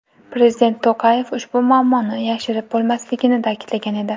Prezident To‘qayev ushbu muammoni yashirib bo‘lmasligini ta’kidlagan edi .